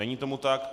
Není tomu tak.